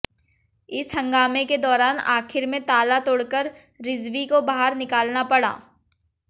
इस हंगामे के दौरान आखिर में ताला तोड़कर रिजवी को बाहर निकालना पड़ा